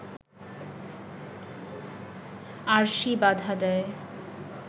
আরশি বাধা দেয়